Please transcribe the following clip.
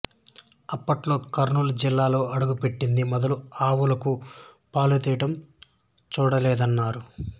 అప్పట్లో కర్నూలు జిల్లాలో అడుగుపెట్టింది మొదలు ఆవులకు పాలు తీయడం చూడలేదన్నారు